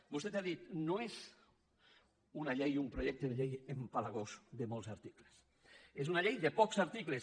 vostè ha dit no és una llei un projecte de llei apegalós de molts articles és una llei de pocs articles